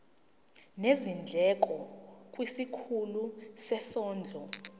nezindleko kwisikhulu sezondlo